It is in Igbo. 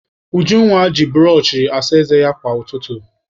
Ujunwa ji bụrọchị asa ézé ya kwa ụtụtụ.